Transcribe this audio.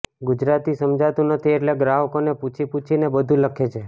ગુજરાતી સમજાતું નથી એટલે ગ્રાહકોને પુછી પુછીને બધું લખે છે